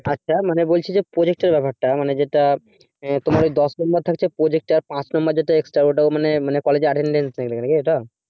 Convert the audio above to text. আচ্ছা মানে বলছি যে project এর ব্যাপারটা মানে যেটা তোমার ঐ দশ number থাকছে project এ আর পাঁচ number যেটা extra ওটা মানে মানে college এ attendence নেবে নাকি ওটা